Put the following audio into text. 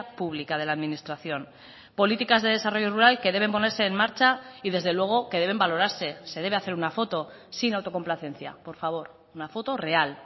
pública de la administración políticas de desarrollo rural que deben ponerse en marcha y desde luego que deben valorarse se debe hacer una foto sin autocomplacencia por favor una foto real